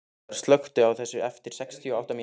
Eldar, slökktu á þessu eftir sextíu og átta mínútur.